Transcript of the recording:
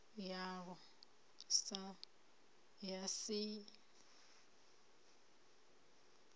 yalwo ya si t ut